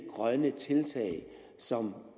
grønne tiltag som